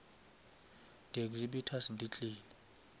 di exhibitors di tlile